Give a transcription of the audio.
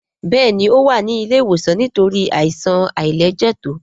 Béèni o wá ní ilé ìwòsan nítorí Àìsàn àìlẹjẹtó.